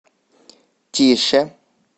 тише